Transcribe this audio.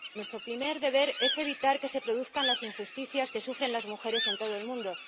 Nuestro primer deber es evitar que se produzcan las injusticias que sufren las mujeres en todo el mundo.